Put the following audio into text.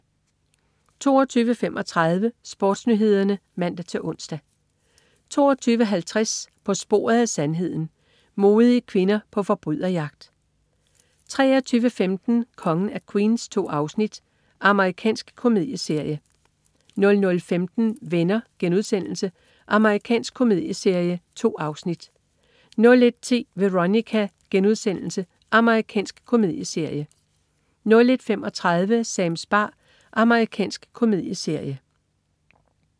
22.35 SportsNyhederne (man-ons) 22.50 På sporet af sandheden. Modige kvinder på forbryderjagt 23.15 Kongen af Queens. 2 afsnit. Amerikansk komedieserie 00.15 Venner.* Amerikansk komedieserie. 2 afsnit 01.10 Veronica.* Amerikansk komedieserie 01.35 Sams bar. Amerikansk komedieserie